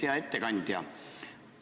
Hea ettekandja!